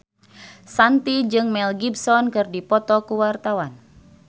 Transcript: Shanti jeung Mel Gibson keur dipoto ku wartawan